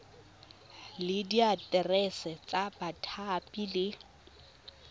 le diaterese tsa bathapi le